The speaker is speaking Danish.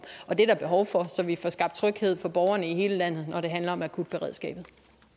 og det er der behov for så vi får skabt tryghed for borgerne i hele landet når det handler om akutberedskabet